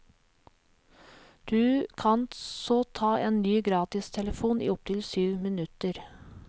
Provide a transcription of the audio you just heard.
Du kan så ta en ny gratistelefon i opptil syv minutter.